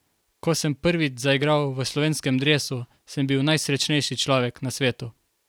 Ko sem prvič zaigral v slovenskem dresu, sem bil najsrečnejši človek na svetu.